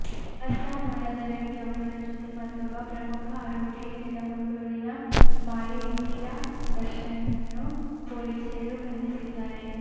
ಅಸ್ಸಾಂ ಮೂಲದ ವ್ಯಕ್ತಿಯೊಬ್ಬನ ಜೊತೆ ಮತ್ತೊಬ್ಬ ಪ್ರಮುಖ ಆರೋಪಿ ಕೆದಮುಳ್ಳೂರಿನ ಮಾಳೇಟಿರ ದರ್ಶನ್ನನ್ನು ಪೊಲೀಸರು ಬಂಧಿಸಿದ್ದಾರೆ